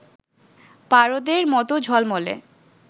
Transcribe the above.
পারদের মত ঝলমলে